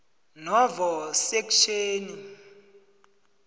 novo sekhtjheni